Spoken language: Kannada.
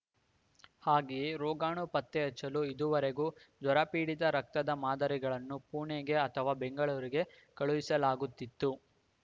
ಹಾಗೆಯೇ ರೋಗಾಣು ಪತ್ತೆ ಹಚ್ಚಲು ಇದುವರೆಗೂ ಜ್ವರ ಪೀಡಿತ ರಕ್ತದ ಮಾದರಿಗಳನ್ನು ಪುಣೆಗೆ ಅಥವಾ ಬೆಂಗಳೂರಿಗೆ ಕಳುಹಿಸಲಾಗುತ್ತಿತ್ತು